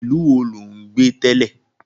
Ìlú wo ló gbé tẹ́lẹ̀?